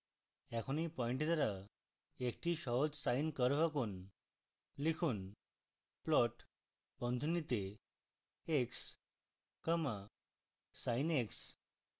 এখন এই পয়েন্ট দ্বারা একটি সহজ sine curve আঁকুন